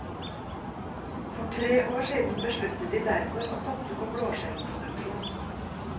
For tre år siden besluttet de derfor å satse på blåskjellproduksjon.